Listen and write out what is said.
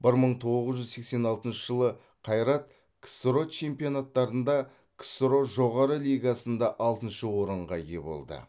бір мың тоғыз жүз сексен алтыншы жылы қайрат ксро чемпионаттарында ксро жоғары лигасында алтыншы орынға ие болды